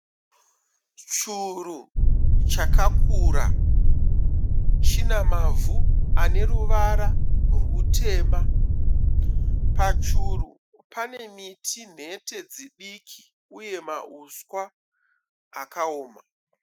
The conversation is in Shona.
Churu chakakura. Chinamavhu aneruvara rwutema. Pachuru panemiti nhete dzidiki uye mahuswa akaoma.